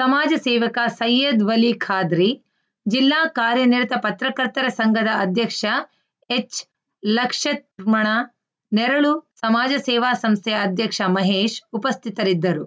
ಸಮಾಜ ಸೇವಕ ಸೈಯದ್‌ ವಲಿ ಖಾದ್ರಿ ಜಿಲ್ಲಾ ಕಾರ್ಯನಿರತ ಪತ್ರಕರ್ತರ ಸಂಘದ ಅಧ್ಯಕ್ಷ ಎಚ್‌ಲಕ್ಷತ್ರ್ಮಣ ನೆರಳು ಸಮಾಜ ಸೇವಾ ಸಂಸ್ಥೆಯ ಅಧ್ಯಕ್ಷ ಮಹೇಶ್‌ ಉಪಸ್ಥಿತರಿದ್ದರು